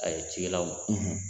A ye cikɛlaw